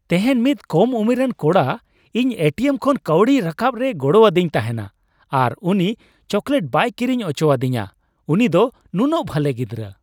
ᱛᱮᱦᱮᱧ ᱢᱤᱫ ᱠᱚᱢ ᱩᱢᱮᱨᱟᱱ ᱠᱚᱲᱟ ᱤᱧ ᱮᱴᱤᱮᱢ ᱠᱷᱚᱱ ᱠᱟᱹᱣᱰᱤ ᱨᱟᱠᱟᱵ ᱨᱮᱭ ᱜᱚᱲᱚᱣᱟᱫᱤᱧ ᱛᱟᱦᱮᱱᱟ ᱟᱨ ᱩᱱᱤ ᱪᱚᱠᱚᱞᱮᱴ ᱵᱟᱭ ᱠᱤᱨᱤᱧ ᱚᱪᱚᱣᱟᱫᱤᱧᱟ ᱾ ᱩᱱᱤ ᱫᱚ ᱱᱩᱱᱟᱹᱜ ᱵᱷᱟᱜᱮ ᱜᱤᱫᱨᱟᱹ ᱾